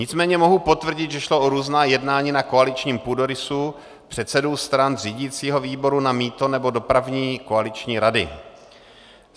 Nicméně mohu potvrdit, že šlo o různá jednání na koaličním půdorysu - předsedů stran, řídícího výboru na mýto nebo dopravní koaliční rady.